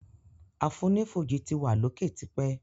Àfonífojì ti wa l'oke t'ipẹ.